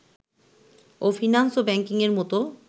ও finance ও ব্যাংকিংয়ের মতো